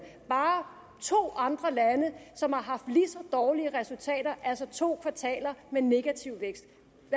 bare to andre lande som har haft lige så dårlige resultater altså to kvartaler med negativ vækst